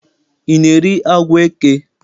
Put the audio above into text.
I na-eri agwọ eke?